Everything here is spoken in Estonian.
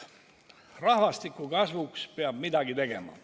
Rahvastiku kasvuks peab midagi tegema.